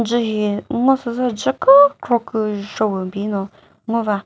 dzü hihi ngo süzü dzü kükro küzho pü bi no ngo va.